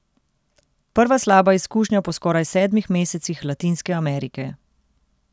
Prva slaba izkušnja po skoraj sedmih mesecih Latinske Amerike.